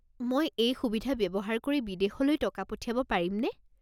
মই এই সুবিধা ব্যৱহাৰ কৰি বিদেশলৈ টকা পঠিয়াব পাৰিমনে?